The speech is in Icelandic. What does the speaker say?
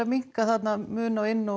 minnka mun á inn og